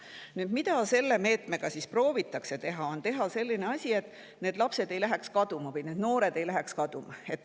Nüüd, mida selle meetmega proovitakse teha, on see, et need lapsed või noored ei läheks kaduma.